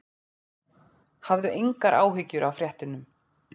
Hafðu engar áhyggjur af fréttunum.